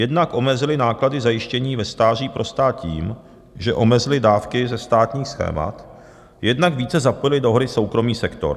Jednak omezily náklady zajištění ve stáří pro stát tím, že omezily dávky ze státních schémat, jednak více zapojily do hry soukromý sektor.